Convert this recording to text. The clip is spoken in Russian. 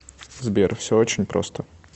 сбер все очень просто